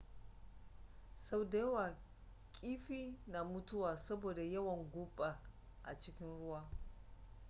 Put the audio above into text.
sau da yawa kiifi na mutuwa saboda yawan guba a cikin ruwa